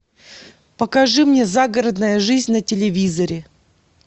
покажи мне загородная жизнь на телевизоре